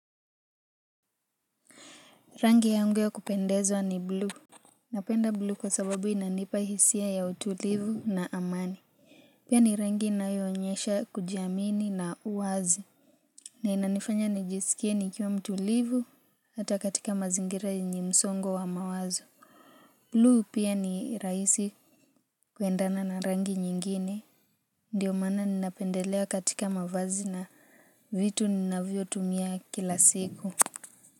Rangi yangu ya kupendezwa ni blue napenda blue kwa sababu inanipa hisia ya utulivu na amani pia ni rangi inayoonyesha kujiamini na uwazi na inanifanya nijisikie nikiwa mtulivu hata katika mazingira yenye msongo wa mawazo blue pia ni raisi kuendana na rangi nyingine ndio maana ninapendelea katika mavazi na vitu ninavyotumia kila siku.